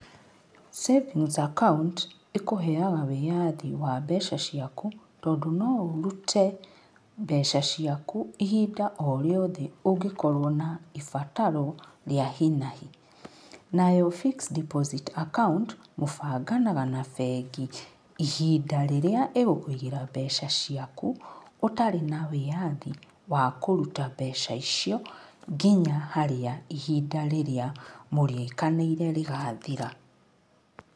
Savings account ĩkũheaga wĩyathi wa mbeca ciaku tondũ no ũrute mbeca ciaku ihinda o rĩothe ũngĩkorwo na ibataro rĩa hi na hi. Nayo fixed deposit account mũbanganaga na bengi ihinda rĩrĩa ĩgũkũigĩra mbeca ciaku ũtarĩ na wĩathi wa kũruta mbeca icio nginya harĩa ihinda rĩrĩa mũrĩkanĩire rĩgathira.